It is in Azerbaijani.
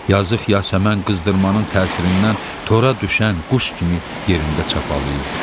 Yazıq Yasəmən qızdırmanın təsirindən tora düşən quş kimi yerində çapalıyırdı.